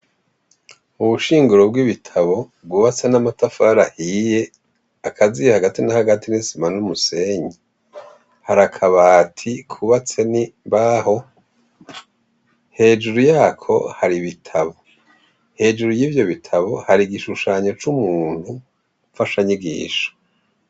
Ubushinguro bw'ibitabo bwubatse n'amatafari ahiye, akaziye hagati na hagati n'isima n'umusenyi, har'akabati kubatse n'imbaho hejuru yako har'ibitabo. Hejuru yivyo bitabo har'igishushanyo c'umuntu mfasha nyigisho.